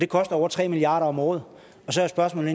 koster over tre milliard kroner om året så er spørgsmålet